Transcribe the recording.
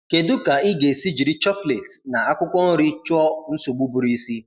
Kedụ ka ị ga esi jiri chocolate na-akwụkwọ nri chụọ nsogbụ ụbụrụisi